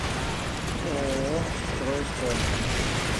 ооо стройком